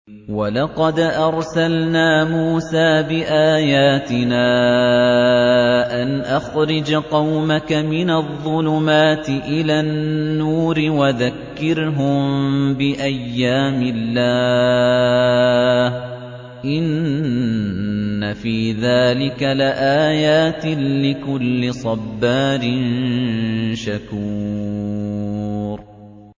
وَلَقَدْ أَرْسَلْنَا مُوسَىٰ بِآيَاتِنَا أَنْ أَخْرِجْ قَوْمَكَ مِنَ الظُّلُمَاتِ إِلَى النُّورِ وَذَكِّرْهُم بِأَيَّامِ اللَّهِ ۚ إِنَّ فِي ذَٰلِكَ لَآيَاتٍ لِّكُلِّ صَبَّارٍ شَكُورٍ